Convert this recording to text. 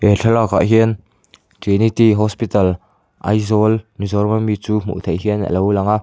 he thlalak ah hian trinity hospital aizawl mizoram ami chu hmuh theih hian alo lang a.